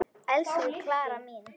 Elsku Klara mín.